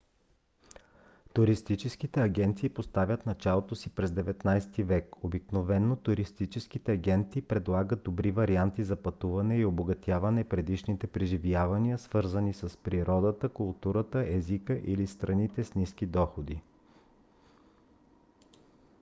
туристическите агенции поставят началото си през 19-ти век. обикновено туристическите агенти предлагат добри варианти за пътуване и обогатяват предишните преживявания свързани с природата културата езика или страните с ниски доходи